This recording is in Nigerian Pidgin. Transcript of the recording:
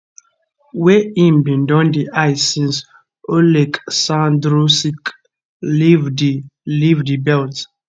wey im bin don dey eye since oleksandr usyk leave di leave di belt